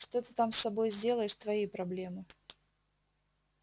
что ты там с собой сделаешь твои проблемы